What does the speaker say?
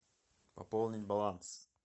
пополнить баланс